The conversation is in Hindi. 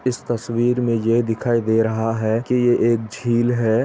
इस तस्वीर में ये दिखाई दे रहा है कि ये एक झील है।